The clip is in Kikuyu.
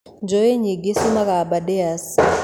Njũũĩ nyingĩ ciumaga Abardares